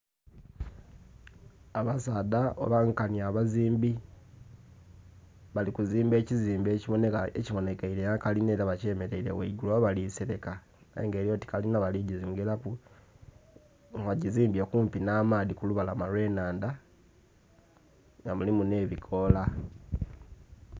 Abasaadha oba nkanhi abazimbi balikuzimba ekizimbe ekibonheka, ekibonhekere ghekalinha era bakyemereire ghangulu. Oba balisereka? Ayenga elyoti kalinha baligiyongera ku nga bagizimbye kumpi nh'amaadhi kulubalama olwennhandha nga mulimu nh'ebikola.